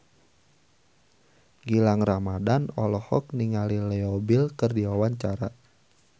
Gilang Ramadan olohok ningali Leo Bill keur diwawancara